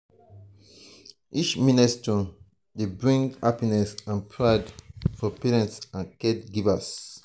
each milestone dey bring happiness and pride for parents and caregivers.